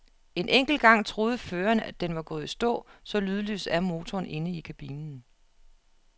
En enkelt gang troede føreren, at den var gået i stå, så lydløs er motoren inde i kabinen.